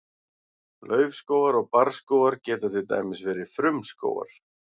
laufskógar og barrskógar geta til dæmis verið frumskógar